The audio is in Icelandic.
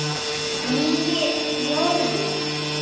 Nýju Jórvík.